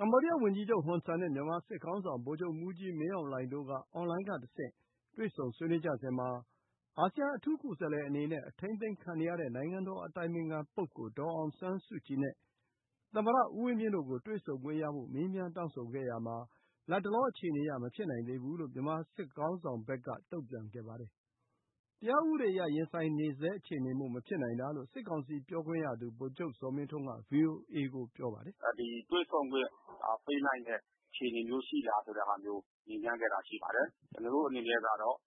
မ္ဘောဒီးယားဝန်ကြီးချုပ်ဟွန်ဆန်နဲ့ မြန်မာစစ်ခေါင်းဆောင်ဗိုလ်ချုပ်မှူးကြီးမင်းအောင်လှိုင်တို့က အွန်လိုင်းကတဆင့် တွေ့ဆုံဆွေးနွေးကြစဉ်မှာ အာဆီယံအထူးကိုယ်စားလှယ်အနေနဲ့ အထိန်းသိမ်းခံနေရတဲ့နိုင်ငံတော်အတိုင်ပင်ခံပုဂ္ဂိုလ်ဒေါ်အောင်ဆန်းစုကြည်နဲ့ သမ္မတဦးဝင်းမြင့်တို့ကို တွေ့ဆုံခွင့်ရဖို့ မေးမြန်းတောင်းဆိုခဲ့ရာမှာ လတ်တလောအခြေအနေအရ မဖြစ်နိုင်သေးဘူးလို့ မြန်မာစစ်ခေါင်းဆောင်ဘက်က တုံ့ပြန်ခဲ့ပါတယ်။ တရားဥပဒေအရ ရင်ဆိုင်နေဆဲအခြေအနေမို့ မဖြစ်နိုင်တာလို့ စစ်ကောင်စီ ပြောခွင့်ရသူ ဗိုလ်ချုပ်ဇော်မင်းထွန်းက ဗွီအိုအေကို ပြောပါတယ်။ “တွေ့ဆုံခွင့်ပေးနိုင်တဲ့အခြေအနေမျိုး ရှိလားဆိုတဲ့ဟာမျိုး မေးမြန်းခဲ့တာရှိပါတယ်။ ကျနော်တို့အနေနဲ့ကတော့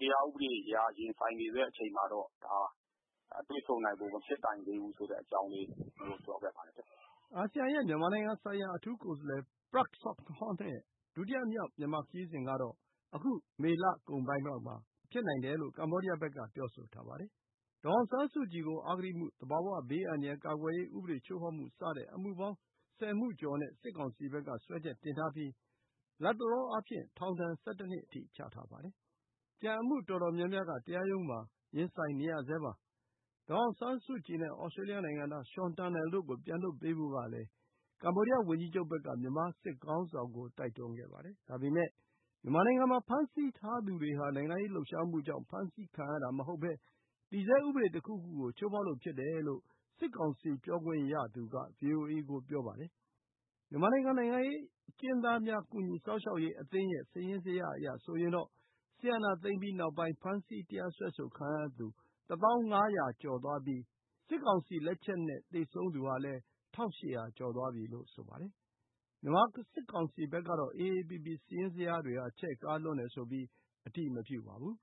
တရားဥပဒေအရ ရင်ဆိုင်နေဆဲအချိန်မှာတော့ ကျနော်တို့အနေနဲ့ကတော့ တွေ့ဆုံနိုင်ဖို့မဖြစ်နိုင်သေးဘူးဆိုတဲ့အကြောင်းလေး ကျနော်တို့ ပြောခဲ့ပါတယ်။” အာဆီယံရဲ့ မြန်မာဆိုင်ရာအထူးကိုယ်စားလှယ် Prak Sokhonn ရဲ့ ဒုတိယမြောက် မြန်မာခရီးစဉ် ကတော့ အခု မေလကုန်ပိုင်းလောက်မှာ ဖြစ်နိုင်ကြောင်းလည်း ကမ္ဘောဒီးယားဘက်က ပြောဆိုထားပါတယ်။ ဒေါ်အောင်ဆန်းစုကြည်ကို အဂတိမှု၊ သဘာဝဘေးအန္တရာယ်ကာကွယ်ရေး ဥပဒေချိုးဖောက်မှု စတဲ့ အမှုပေါင်း ၁၀ မှုကျော်နဲ့ စစ်ကောင်စီဘက်က စွဲချက်တင်ထားပြီး လတ်တလောအားဖြင့် ထောင်ဒဏ် ၁၁ နှစ်အထိ ချမှတ်ထားပါတယ်။ ကျန်အမှုအတော်များများက တရားရုံးမှာ ရင်ဆိုင်နေရဆဲပါ။ ဒေါ်အောင်ဆန်းကြည်နဲ့ သြစတြေးလျနိုင်ငံသား Sean Turnell တို့ကို ပြန်လွှတ်ပေးဖို့လည်း ကမ္ဘောဒီယားဝန်ကြီးချုပ်ဘက်က မြန်မာစစ်ခေါင်းဆောင်ကို တိုက်တွန်းခဲ့ပါတယ်။ ဒါပေမယ့် မြန်မာနိုင်ငံမှာ ဖမ်းဆီးထားသူတွေဟာ နိုင်ငံရေးလှုပ်ရှားမှုကြောင့် ဖမ်းဆီးခံရတာမဟုတ်ဘဲ တည်ဆဲ ဥပဒေတခုခုကို ချိုးဖောက်လို့ ဖြစ်တယ်လို့ စစ်ကောင်စီ ပြောခွင့်ရသူက ဗွီအိုအေကို ပြောပါတယ်။ မြန်မာနိုင်ငံ နိုင်ငံရေးအကျဉ်းသားများကူညီစောင့်ရှောက်ရေးအသင်းရဲ့ စာရင်းဇယားအရဆိုရင်တော့ စစ်အာဏာသိမ်းပြီးနောက်ပိုင်း ဖမ်းဆီးတရားစွဲဆိုခံရသူ ၁၀,၅၀၀ ကျော်သွားပြီး စစ်ကောင်စီလက်ချက်နဲ့ သေဆုံးသူဟာလည်း ၁,၈၀၀ ကျော်သွားပြီလို့ ဆိုပါတယ်။ မြန်မာစစ်ကောင်စီဘက်ကတော့ AAPP စာရင်းဇယားတွေဟာ ချဲ့ကားလွန်းတယ်ဆိုပြီး အတည်မပြုပါဘူး